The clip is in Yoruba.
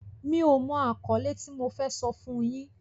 Mi ò mọ àkọ́lé tí mo fẹ́ sọ fún yín.